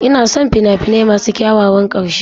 Ina son fina-finai masu kyakkyawan ƙarshe.